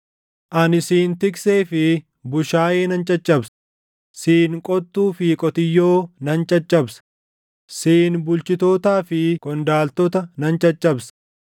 ani siin tiksee fi bushaayee nan caccabsa; siin qottuu fi qotiyyoo nan caccabsa; siin bulchitootaa fi qondaaltota nan caccabsa.